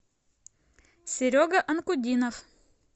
серега анкудинов